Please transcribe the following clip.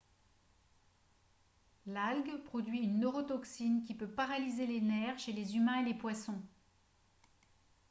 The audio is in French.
l'algue produit une neurotoxine qui peut paralyser les nerfs chez les humains et les poissons